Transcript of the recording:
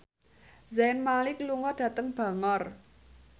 Zayn Malik lunga dhateng Bangor